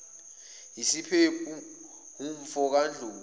usiyephu umfo kandlovu